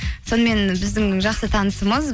сонымен біздің жақсы танысымыз